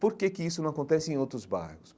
Por que que isso não acontece em outros bairros?